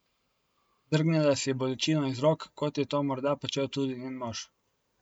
Drgnila si je bolečino iz rok, kot je to morda počel tudi njen mož.